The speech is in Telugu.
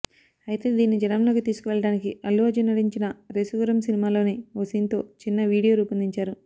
అయితే దీనిని జనంలోకి తీసుకు వెళ్లడానికి అల్లు అర్జున్ నటించిన రేసుగుర్రం సినిమాలోని ఓ సీన్తో చిన్న వీడియో రూపొందించారు